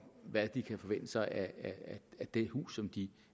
hvad de kan forvente sig af det hus som de